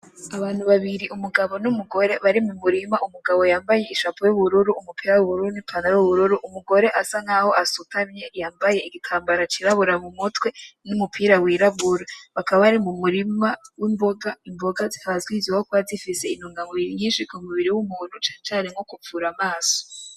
Abantu babiri umugabo n'umugore bari mu murima, umugabo yambaye i "chapeau" y'ubururu, umupira w'ubururu n'i "pantalon", umugore asa nkaho asutamye yambaye igitambara c'irabura kumutwe numupira w'irabura, bakaba bari mu murima w'imboga , imboga zikaba zizwi ko ziba zifise intungamubiri nyinshi ku mubiri w'umuntu cane cane nko kuvura amaso.